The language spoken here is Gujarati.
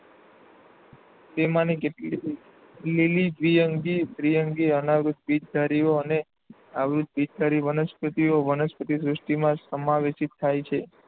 તેમાં ની કેટલી લીલ, દ્વિઅંગી, ત્રિઅંગી, અનાવૃત્ત બીજધારીઓ અને આવૃત્ત બીજધારી વનસ્પતિઓ વનસ્પતિ સૃષ્ટિમાં સમાવેશિત છે.